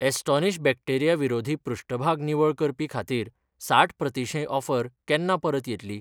Astonish bacteria विरोधी पृष्ठभाग निवळ करपी खातीर साठ प्रतिशें ऑफर केन्ना परत येतली?